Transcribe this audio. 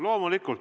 Loomulikult.